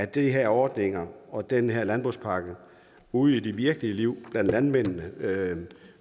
de her ordninger og den her landbrugspakke ude i det virkelige liv blandt landmændene